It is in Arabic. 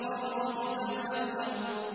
وَالرُّجْزَ فَاهْجُرْ